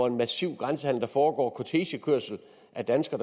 massiv grænsehandel der foregår kortegekørsel af danske